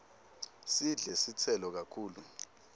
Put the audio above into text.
sidle titselo kakhulu